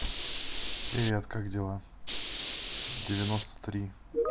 привет как дела девяносто три